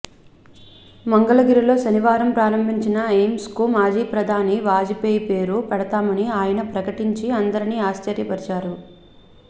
మంగళగిరిలో శనివారం ప్రారంభించిన ఎయిమ్స్ కు మాజీ ప్రధాని వాజపేయి పేరు పెడతామని ఆయన ప్రకటించి అందరినీ ఆశ్చర్యపరిచారు